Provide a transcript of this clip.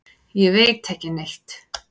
Ég veit ekki neitt.